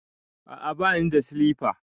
A'a bani da silifa.